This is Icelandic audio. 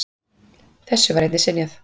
Þessu var einnig synjað.